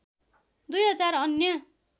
दुई हजार अन्य